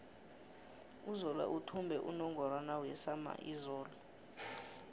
uzola uthumbe unungorwana wesama izolo